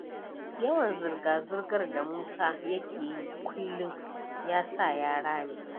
Yawan zirga-zirgar da Musa yake yi kullum, ya sa ya rame.